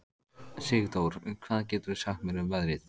Sigdór, hvað geturðu sagt mér um veðrið?